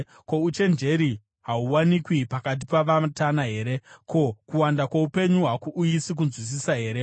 Ko, uchenjeri hahuwanikwi pakati pavatana here? Ko, kuwanda kwoupenyu hakuuyisi kunzwisisa here?